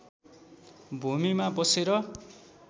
भूमिमा बसेर